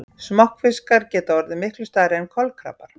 Smokkfiskar geta orðið miklu stærri en kolkrabbar.